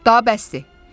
Daha bəsdir.